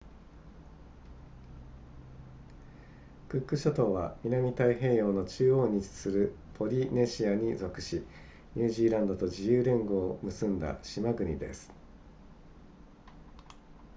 クック諸島は南太平洋の中央に位置するポリネシアに属しニュージーランドと自由連合を結んだ島国です